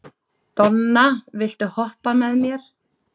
Donna, viltu hoppa með mér?